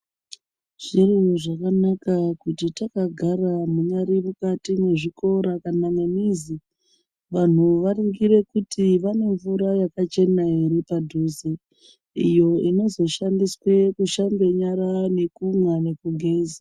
Zviro zvakanaka kuti takagara munyari mukati mwezvikora kana mwemizi, vanhu varingire kuti vane mvura yakachena ere padhuze, iyo inozoshandiswe kushambe nyara ekumwa nekugeza.